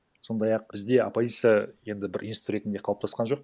сондай ақ бізде оппозиция енді бір институт ретінде қалыптасқан жоқ